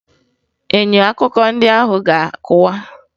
Enyo akụkọ ndị ahụ ga-akụwa